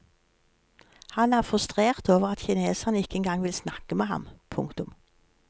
Han er frustrert over at kineserne ikke engang vil snakke med ham. punktum